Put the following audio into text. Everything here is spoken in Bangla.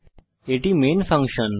এটি আমাদের মেন ফাংশন